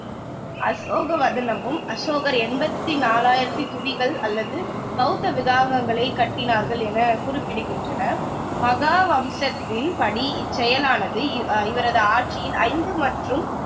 அசோகவதனமும் அசோகர் எண்பத்தி நாலாயிரத்தி தூபிகள் அல்லது பௌத்த விகாரங்களைக் கட்டினார்கள் என குறிப்பிடுகின்றன மகாவம்சத்தின் படி இச்செயலானது அ இவரது ஆட்சியின் ஐந்து மற்றும்